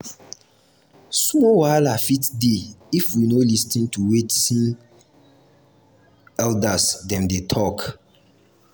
small wahala fit dey if we no lis ten to wetin lis ten to wetin elders dem dey talk.